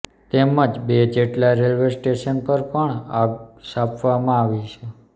તેમજ બે જેટલા રેલવે સ્ટેશન પર પણ આગ ચાંપવામાં આવી છે